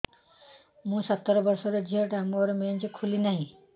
ମୁ ସତର ବର୍ଷର ଝିଅ ଟା ମୋର ମେନ୍ସେସ ଖୁଲି ନାହିଁ